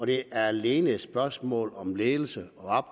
det er alene et spørgsmål om ledelse